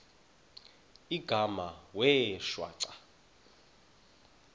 igama wee shwaca